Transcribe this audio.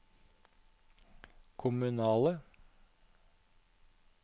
kommunale